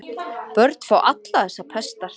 Börn fá allar þessar pestar.